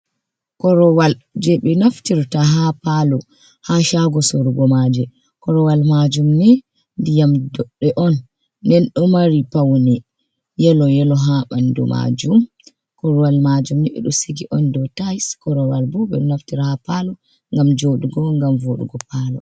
Korowal jey ɓe naftirta haa paalo, haa caago sorugo maaje. Korowal maajum ni ndiyam doɗɗe on. Nden ɗo mari pawne yelo yelo, haa ɓanndu maajum. Korowal maajum ni ɓe ɗo sigi on, dow tayis, korowal bo ɓe ɗo naftira haa paalo ngam joɗugo ngam voɗugo paalo.